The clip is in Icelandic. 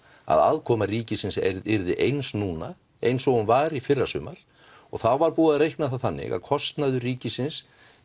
að aðkoma ríkisins yrði eins núna eins og hún var í fyrrasumar og þá var búið að reikna það þannig að kostnaður ríkisins